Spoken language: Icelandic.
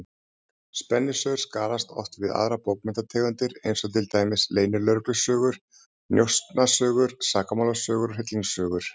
Spennusögur skarast oft við aðrar bókmenntategundir, eins og til dæmis leynilögreglusögur, njósnasögur, sakamálasögur og hryllingssögur.